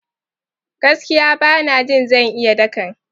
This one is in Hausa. Gaskiya! Bana jin zan iya dakan.